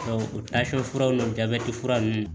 o furaw n'o jabɛti fura nunnu